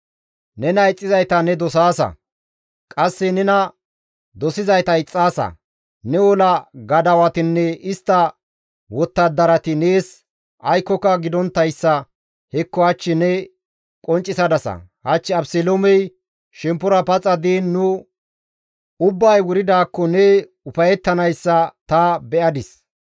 Nena ixxizayta ne dosaasa; qasse nena dosizayta ixxaasa; ne ola gadawatinne istta wottadarati nees aykkoka gidonttayssa hekko hach ne qonccisadasa; hach Abeseloomey shemppora paxa diin nu ubbay wuridaakko ne ufayettanayssa ta be7adis.